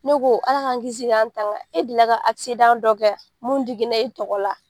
Ne ko ala k'an kisi k'an tanga, e delila ka dɔ kɛ wa mun digila e tɔgɔ la?